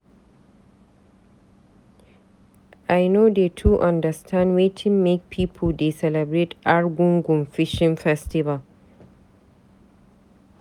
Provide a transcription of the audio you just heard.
I no dey too understand wetin make pipu dey celebrate Arugungu Fishing festival.